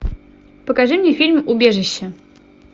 покажи мне фильм убежище